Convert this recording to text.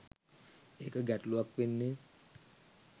ඒක ගැටළුවක් වෙන්නෙ